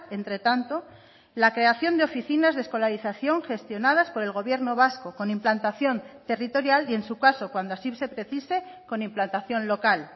entre tanto la creación de oficinas de escolarización gestionadas por el gobierno vasco con implantación territorial y en su caso cuando así se precise con implantación local